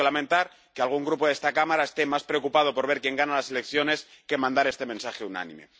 Yo tengo que lamentar que algún Grupo de esta Cámara esté más preocupado por ver quién gana las elecciones que por mandar este mensaje unánime.